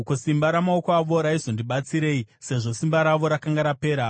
Ko, simba ramaoko avo raizondibatsirei, sezvo simba ravo rakanga rapera?